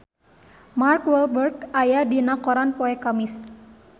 Mark Walberg aya dina koran poe Kemis